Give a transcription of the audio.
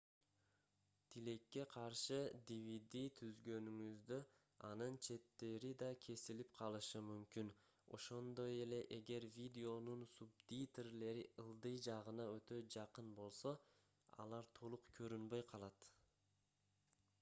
тилекке каршы dvd түзгөнүңүздө анын четтери да кесилип калышы мүмкүн ошондой эле эгер видеонун субтитрлери ылдый жагына өтө жакын болсо алар толук көрүнбөй калат